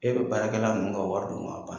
E bɛ baarakɛla ninnu ka wari dun k'a ban